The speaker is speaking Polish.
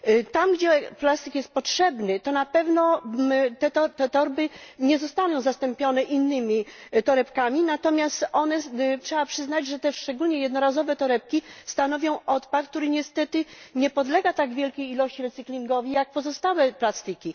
Tam, gdzie plastik jest potrzebny, na pewno te torby nie zostaną zastąpione innymi torebkami, natomiast trzeba przyznać, że szczególnie jednorazowe torebki stanowią odpad, który niestety nie podlega w tak wielkiej ilości recyclingowi jak pozostałe plastiki.